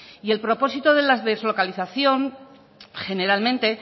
y el propósito de la deslocalización generalmente